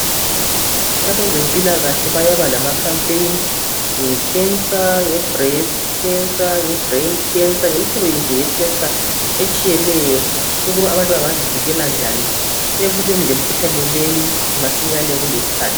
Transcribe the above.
Abezempilakahle baba lama khampeni awekhensa, nge brain khensa, nge breast khensa, ngemihlobo nje eyekhensa etshiyeneyo lokuthi abntu bengazivikela njani emkhuhlaneni leyo kukesikhathi.